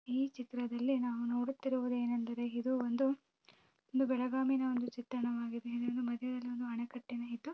ಈ ಚಿತ್ರದಲ್ಲಿ ನಾವು ನೋಡುತ್ತಿರುವುದು ಏನೆಂದರೆ ಇದು ಒಂದು ಬೆಳಗಾಮಿನ ಒಂದು ಚಿತ್ರಣವಾಗಿದೆ ಮತ್ತು ಮದ್ಯದಲ್ಲೂನು ಅಣೆಕಟ್ಟು ಇದು.